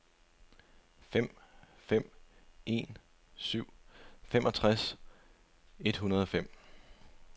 fem fem en syv femogtres et hundrede og fem